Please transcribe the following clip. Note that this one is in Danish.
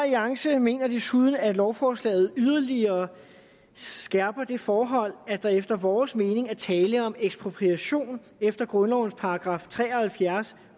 alliance mener desuden at lovforslaget yderligere skærper det forhold at der efter vores mening er tale om ekspropriation efter grundlovens § tre og halvfjerds